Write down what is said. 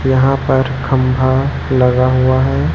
यहां पर खंभा लगा हुआ है।